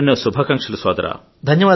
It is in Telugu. ఎన్నెన్నో శుభాకాంక్షలు సోదరా